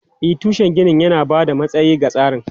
E, tushen ginin yana ba da matsayi ga tsarin.